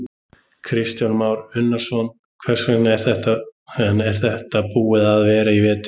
Kristján Már Unnarsson: Hvernig er þetta búið að vera í vetur?